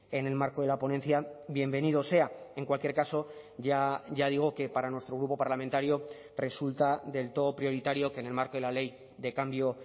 en el marco de la ponencia bienvenido sea en cualquier caso ya digo que para nuestro grupo parlamentario resulta del todo prioritario que en el marco de la ley de cambio